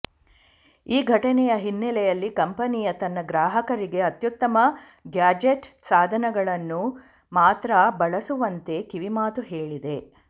ಈ ಘಟನೆಯ ಹಿನ್ನಲೆಯಲ್ಲಿ ಕಂಪನಿಯು ತನ್ನ ಗ್ರಾಹಕರಿಗೆ ಅತ್ಯುತ್ತಮ ಗ್ಯಾಡ್ಜೆಟ್ ಸಾಧನಗಳನ್ನು ಮಾತ್ರ ಬಳಸುವಂತೆ ಕಿವಿಮಾತು ಹೇಳಿದೆ